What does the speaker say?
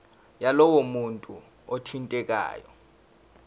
yalowo muntu othintekayo